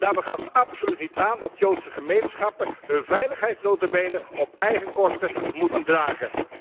Daarbij gaat het absoluut niet aan dat Joodse gemeenschappen hun veiligheid nota bene op eigen kosten moeten dragen.